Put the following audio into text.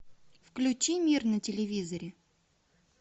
включи мир на телевизоре